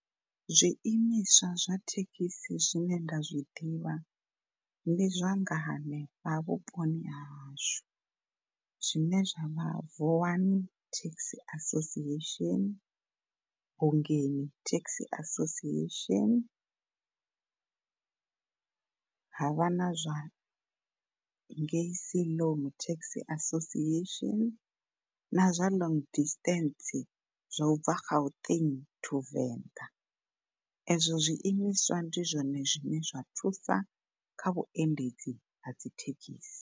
Zwiimiswa zwa thekhisi zwine nda zwiḓivha ndi zwa nga hanefha vhuponi hahashu zwine zwavha Vuwani Taxi Association, Bungeni Taxi Association ha vha na zwa ngei Siloam Taxi Association na zwa long distance zwa ubva Gauteng to Venḓa ezwo zwiimiswa ndi zwone zwine zwa thusa kha vhuendedzi ha dzithekhisi.